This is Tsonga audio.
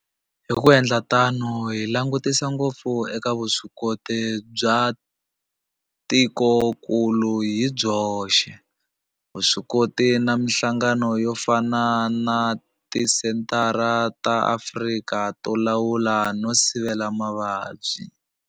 Hi ku endla tano hi langutisa ngopfu eka vuswikoti bya tikokulu hi byoxe, vuswikoti na mihlangano yo fana na Tisenthara ta Afrika to Lawula no Sivela Mavabyi.